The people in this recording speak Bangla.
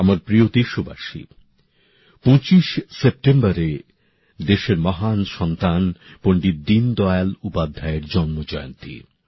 আমার প্রিয় দেশবাসী ২৫ সেপ্টেম্বর দেশের মহান সন্তান পণ্ডিত দীনদয়াল উপাধ্যায়ের জন্ম জয়ন্তী